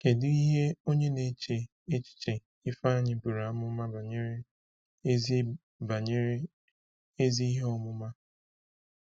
Kedu ihe onye na-eche echiche Ifeanyi buru amụma banyere “ezi banyere “ezi ihe ọmụma”?